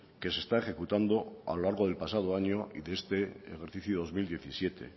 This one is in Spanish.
que se está ejecutando a lo largo del pasado año y de este ejercicio dos mil diecisiete